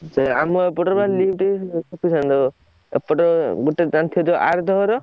ସେ ଆମ ଏପଟରେ ବା sufficient ଏପଟେ ଗୋଟେ ଜାଣିଥିବ ଯୋଉ ଆରଦୋହର?